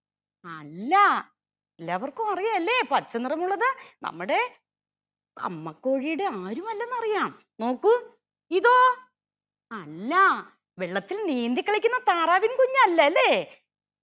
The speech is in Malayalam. അല്ല എല്ലാവർക്കും അറിയാലേ പച്ച നിറമുള്ളത് നമ്മുടെ അമ്മക്കോഴിയുടെ ആരും അല്ലെന്ന് അറിയാ നോക്കൂ ഇതോ അല്ലാ വെള്ളത്തിൽ നീന്തി കളിക്കുന്ന താറാവിൻ കുഞ്ഞല്ലല്ലേ